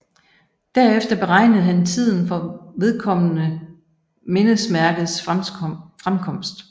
Derefter beregnede han tiden for vedkommende mindesmærkes fremkomst